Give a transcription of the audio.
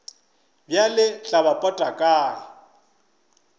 bjale tla ba pota kae